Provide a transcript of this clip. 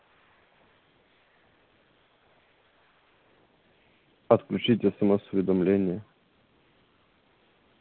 отключить смс уведомления